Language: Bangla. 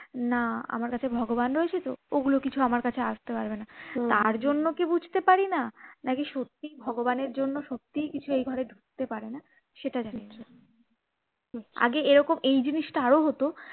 না আমার কাছে ভগবান রয়েছে তো ওগুলো কিছু আমার কাছে আসতে পারবে না তার জন্য কি বুঝতে পারি না নাকি সত্যিই ভগবানের জন্য সত্যিই কিছু এ ঘরে ঢুকতে পারে না সেটা জানি না আগে এরকম এই জিনিসটা আরো হতো